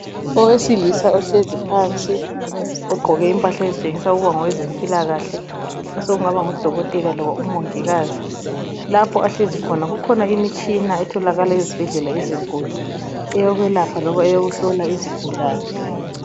Owesilisa ohlezi phansi ugqoke impahla ezitshengisa ukuba ngo wezempilakahle sokungaba ngudokotela loba umongikazi lapho ahlezi khona kukhona imitshina etholakala ezibhedlela ezinkulu eyokwelapha loba eyekuhlola izigulane.